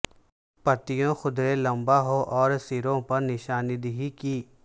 پتیوں قدرے لمبا ہو اور سروں پر نشاندہی کی